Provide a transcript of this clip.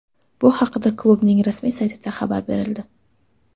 Bu haqda klubning rasmiy saytida xabar berildi .